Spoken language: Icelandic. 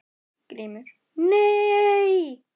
GRÍMUR: Nei!